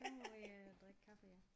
Så må vi øh drikke kaffe ja